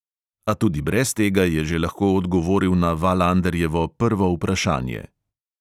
A tudi brez tega je že lahko odgovoril na valanderjevo prvo vprašanje.